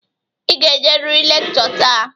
Ị ga-ejeriri lekchọ taa.